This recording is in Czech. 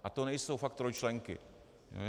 A to nejsou fakt trojčlenky.